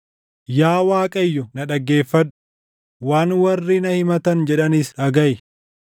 Yaa Waaqayyo, na dhaggeeffadhu; waan warri na himatan jedhanis dhagaʼi!